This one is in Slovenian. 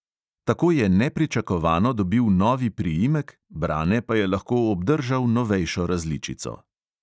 Tako je nepričakovano dobil novi priimek, brane pa je lahko obdržal novejšo različico.